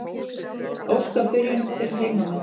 Óska byrjun fyrir heimamenn.